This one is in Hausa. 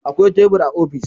Akwai tebur a ofis.